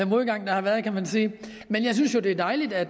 modgang der har været kan man sige men jeg synes jo det er dejligt at